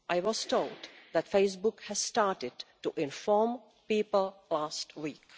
I was told that Facebook has started to inform people last week.